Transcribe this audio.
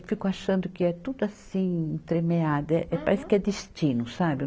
fico achando que é tudo assim tremeado, eh, eh, parece que é destino, sabe?